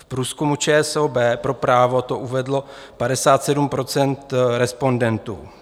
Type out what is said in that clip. V průzkumu ČSOB pro Právo to uvedlo 57 % respondentů.